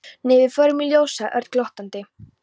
Nei, við förum í ljós sagði Örn glottandi.